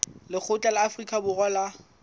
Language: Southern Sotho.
lekgotla la afrika borwa la